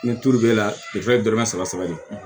Ni tulu b'e la dɔrɔmɛ saba saba de